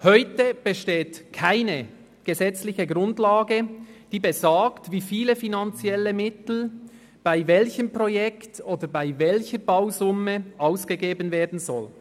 Heute besteht keine gesetzliche Grundlage, die besagt, wie viele finanzielle Mittel bei welchen Projekten oder bei welcher Bausumme ausgegeben werden sollen.